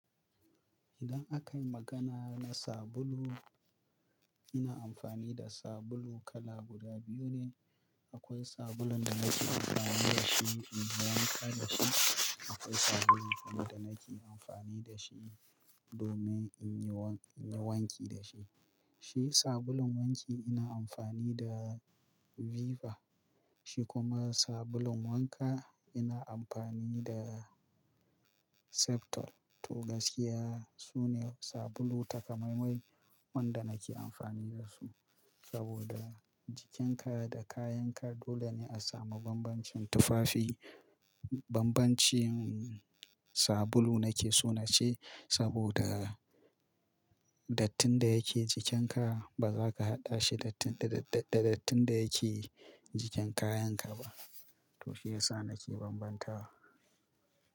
Idan aka yi magana na sabulu, ina amfani da sabulu kala guda biyu ne. Akwai sabulun da nake amfani da shi in yi wanka da shi. Akwai sabulun kuma da nake amfani da shi domin in yi wanki da shi. Shi sabulun wanki ina amfani da Viva. Shi kuma sabulun wanka ina amfani da Septol. To gaskiya sune sabulu takamaimai wanda nake amfani da su. Saboda jikin ka da kayan ka dole ne a samu bambancin tufafi. Bambancin sabulu nake so na ce saboda dattin da yake jikin ka ba za ka haɗa shi da dattin da yake jikin kayan ka ba. To shiyasa nake bambanta wa.